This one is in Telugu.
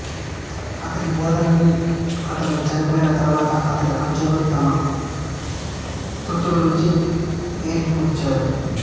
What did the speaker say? అతడి బోధలన్నీ అతడు చనిపోయిన తరువాత అతడి అనుచరులు తమ స్మృతుల నుంచి ఏరి కూర్చారు